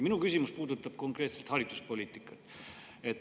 Minu küsimus puudutab konkreetselt hariduspoliitikat.